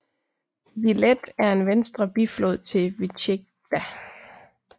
Viled er en venstre biflod til Vytjegda